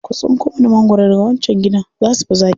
Ku tsinko mana magwaro daga wancan gidan, za su fi zaƙi.